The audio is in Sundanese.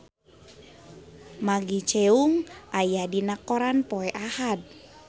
Maggie Cheung aya dina koran poe Ahad